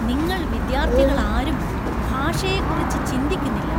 നിങ്ങൾ വിദ്യാർത്ഥികളാരും ഭാഷയെക്കുറിച്ച് ചിന്തിക്കുന്നില്ല